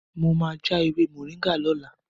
Mo máa já ewé Moringa lọ́la.